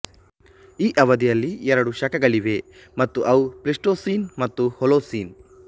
ಈ ಅವಧಿಯಲ್ಲಿ ಎರಡು ಶಕಗಳಿವೆ ಮತ್ತು ಅವು ಪ್ಲಿಸ್ಟೋಸಿನ್ ಮತ್ತು ಹೊಲೋಸಿನ್